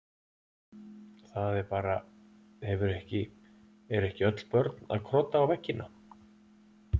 Það er bara, hefur ekki, eru ekki öll börn að krota á veggina?